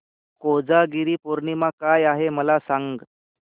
कोजागिरी पौर्णिमा काय आहे मला सांग